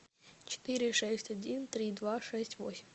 четыре шесть один три два шесть восемь